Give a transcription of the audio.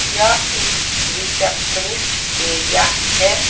यह एक receptionist area है।